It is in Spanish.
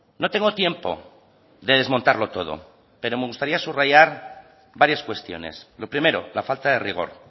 no tengo tiempo de desmontarlo todo pero me gustaría subrayar varias cuestiones lo primero la falta de rigor